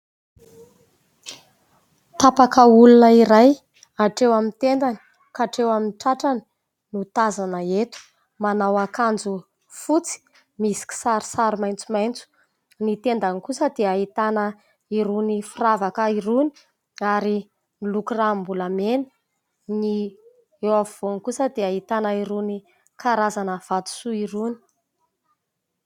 Tapaka olona iray hatreo amin'ny tendany katreo amin'ny tratrany no tazana eto. Manao akanjo fotsy misy kisarisary maitsomaitso. Ny tendany kosa dia ahitana irony firavaka irony, ary miloko ranom-bolamena. Ny eo afovoany kosa dia ahitana irony karazana vatosoa irony.